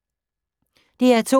DR2